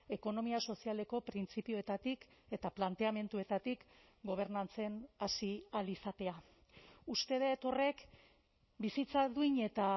ekonomia sozialeko printzipioetatik eta planteamenduetatik gobernatzen hasi ahal izatea uste dut horrek bizitza duin eta